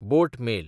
बोट mail